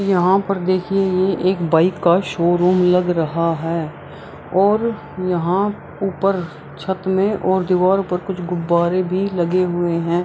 यहाँ पर देखिए ये एक बाइक का शोरूम लग रहा है और यहाँ ऊपर छत में और दीवाल पर कुछ गुबारे भी लगे हुए हैं।